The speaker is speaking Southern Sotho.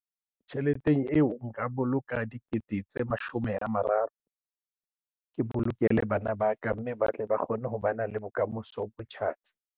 Tjheleteng eo nka boloka dikete tse mashome a mararo. Ke bolokele bana ba ka mme ba tle ba kgone ho bana le bokamoso bo tjhatsi.